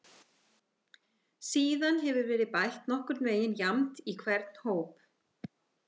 Síðan hefur verið bætt nokkurn veginn jafnt í hvern hóp.